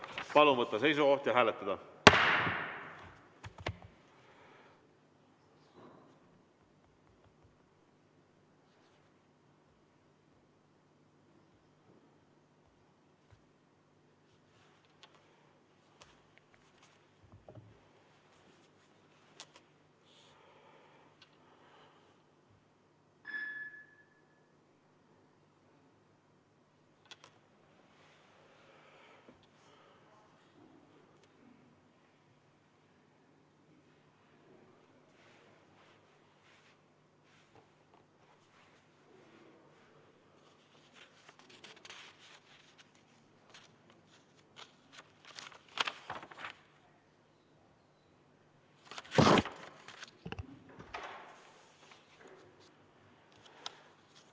Palun võtta seisukoht ja hääletada!